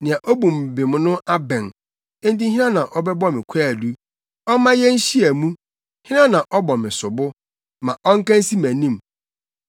Nea obu me bem no abɛn. Enti hena na ɔbɛbɔ me kwaadu? Ɔmma yenhyia mu! Hena na ɔbɔ me sobo? Ma ɔnka nsi mʼanim!